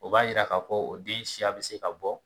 O b'a yira ka fɔ o den siya bi se ka bɔ